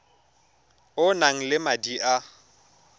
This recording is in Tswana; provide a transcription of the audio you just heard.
o nang le madi a